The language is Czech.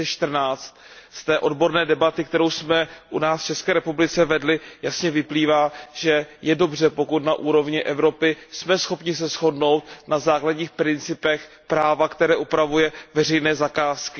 2014. Z té odborné debaty, kterou jsme u nás v České republice vedli, jasně vyplývá, že je dobře, pokud na úrovni Evropy jsme schopni se shodnout na základních principech práva, které upravuje veřejné zakázky.